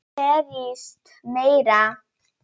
Berjist meira.